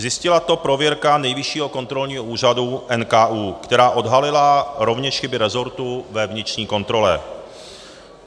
Zjistila to prověrka Nejvyššího kontrolního úřadu - NKÚ, která odhalila rovněž chyby rezortu ve vnitřní kontrole.